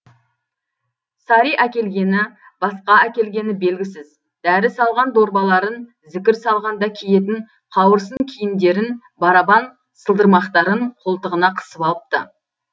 сари әкелгені басқа әкелгені белгісіз дәрі салған дорбаларын зікір салғанда киетін қауырсын киімдерін барабан сылдырмақтарын қолтығына қысып алыпты